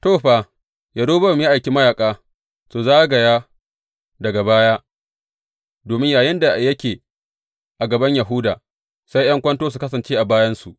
To, fa, Yerobowam ya aiki mayaƙa su zagaya daga baya, domin yayinda yake a gaban Yahuda, sai ’yan kwanto su kasance a bayansu.